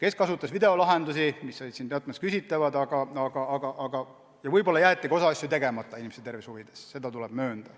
Osa kasutas videolahendusi, mis olid sel puhul teatud mõttes küsitavad, ja võib-olla jäeti ka osa asju inimese tervise huvides tegemata, seda tuleb möönda.